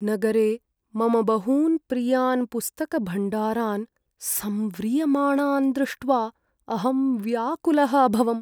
नगरे मम बहून् प्रियान् पुस्तकभण्डारान् संव्रियमाणान् दृष्ट्वा अहं व्याकुलः अभवम्।